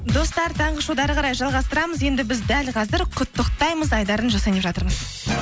достар таңғы шоуды әрі қарай жалғастырамыз енді біз дәл қазір құттықтаймыз айдарын жасайын деп жатырмыз